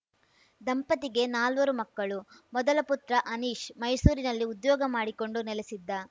ದಂಪತಿಗೆ ನಾಲ್ವರು ಮಕ್ಕಳು ಮೊದಲ ಪುತ್ರ ಅನೀಶ್‌ ಮೈಸೂರಿನಲ್ಲಿ ಉದ್ಯೋಗ ಮಾಡಿಕೊಂಡು ನೆಲೆಸಿದ್ದ